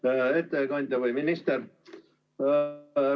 Hea ettekandja, minister!